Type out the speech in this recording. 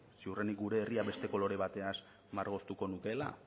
ziurrenik gure herria beste kolore bateaz margotuko nukeela